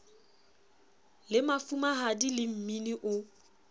le mafumahadi le mmini o